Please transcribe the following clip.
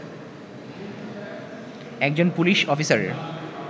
একজন পুলিশ অফিসারের